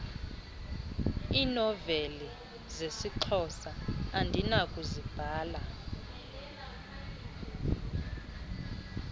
iinoveli zesixhosa andinakuzibala